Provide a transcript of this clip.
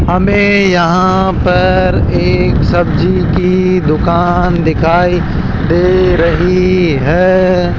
हमें यहां पर एक सब्जी की दुकान दिखाई दे रही है।